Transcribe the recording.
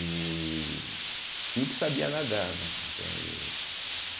E e o que sabia, nadar, né. entende